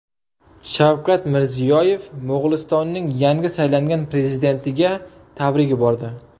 Shavkat Mirziyoyev Mo‘g‘ulistonning yangi saylangan prezidentiga tabrik yubordi.